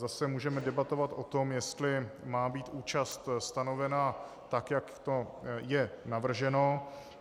Zase můžeme debatovat o tom, jestli má být účast stanovena tak, jak to je navrženo.